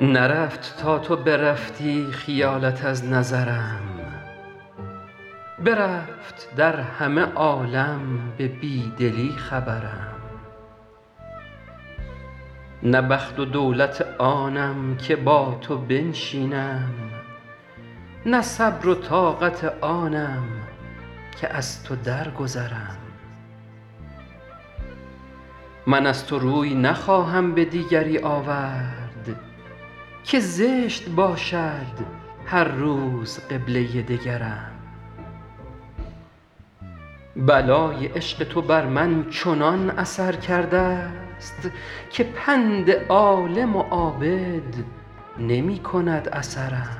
نرفت تا تو برفتی خیالت از نظرم برفت در همه عالم به بی دلی خبرم نه بخت و دولت آنم که با تو بنشینم نه صبر و طاقت آنم که از تو درگذرم من از تو روی نخواهم به دیگری آورد که زشت باشد هر روز قبله دگرم بلای عشق تو بر من چنان اثر کرده ست که پند عالم و عابد نمی کند اثرم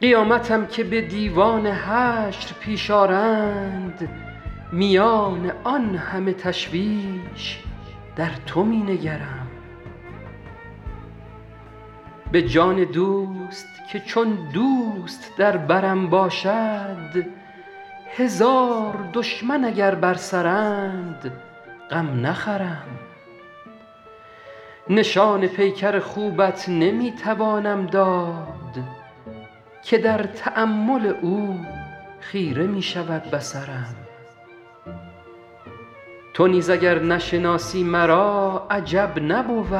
قیامتم که به دیوان حشر پیش آرند میان آن همه تشویش در تو می نگرم به جان دوست که چون دوست در برم باشد هزار دشمن اگر بر سرند غم نخورم نشان پیکر خوبت نمی توانم داد که در تأمل او خیره می شود بصرم تو نیز اگر نشناسی مرا عجب نبود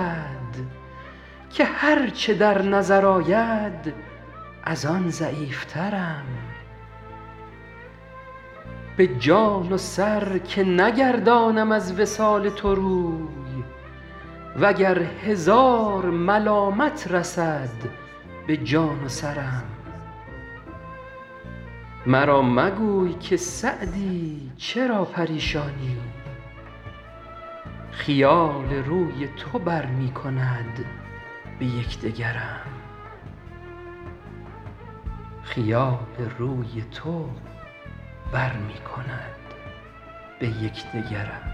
که هر چه در نظر آید از آن ضعیفترم به جان و سر که نگردانم از وصال تو روی و گر هزار ملامت رسد به جان و سرم مرا مگوی که سعدی چرا پریشانی خیال روی تو بر می کند به یک دگرم